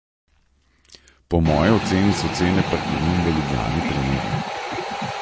Po moji oceni so cene parkirnin v Ljubljani primerne.